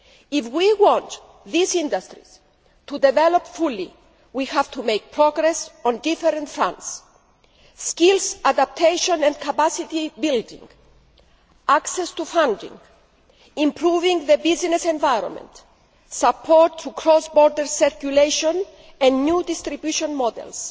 If we want these industries to develop fully, we have to make progress on various fronts skills adaptation and capacity building, access to funding, improving the business environment, support for cross border circulation and new distribution models,